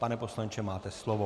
Pane poslanče, máte slovo.